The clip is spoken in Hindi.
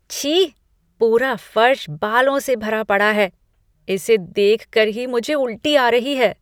छी! पूरा फर्श बालों से भरा पड़ा है। इसे देखकर ही मुझे उल्टी आ रही है।